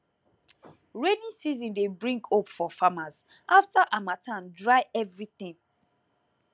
rainy season dey bring hope for farmers after harmattan dry everything